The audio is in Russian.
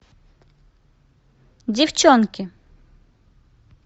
девчонки